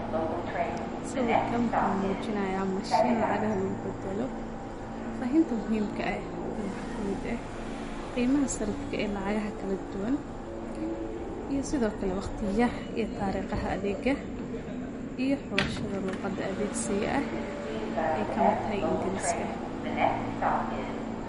Sawirkan wuxu mujinaya mashin lacagta lugubadalo, fahfahinta muhiimka ah waxa waye qimaaha sare ee lacagaha kaladuwan iyo sidokale tariqaha adega iyo lugaha kalawudan ee adegsia ey kamid tahay ingiriska.